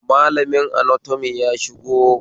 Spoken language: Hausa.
Malamin anatomy ya shigo